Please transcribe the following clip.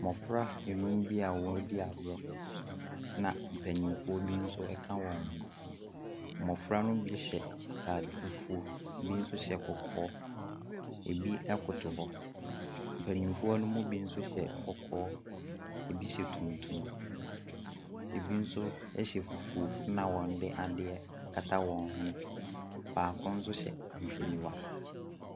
Mmɔfra nnum bi a wɔredi agorɔ na mpanimfoɔ bi nso ka wɔn ho. Mmɔfra no mu bi hyɛ ataade fufuo, ebi nso hyɛ kɔkɔɔ. ebi koto hɔ. mpanimfoɔ no mu binso hyɛ kɔkɔɔ ebi hyɛ tuntum, ebi nso hyɛ fufuo na wɔde adeɛ akata wɔn hwene. Baaoko nso hyɛ ahwehwɛniwa.